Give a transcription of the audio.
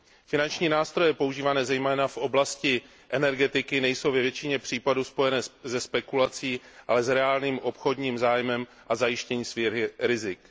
Finanční nástroje používané zejména v oblasti energetiky nejsou ve většině případů spojené se spekulací, ale s reálným obchodním zájmem a zajištěním svých rizik.